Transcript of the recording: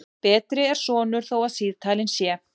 Betri er sonur þó síðalin sé.